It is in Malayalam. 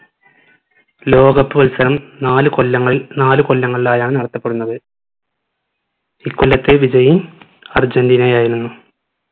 ലോക cup മത്സരം നാല് കൊല്ലങ്ങൾ നാല് കൊല്ലങ്ങളിലായാണ് നടത്തപ്പെടുന്നത് ഇ കൊല്ലത്തെ വിജയി അർജന്റീനയായിരുന്നു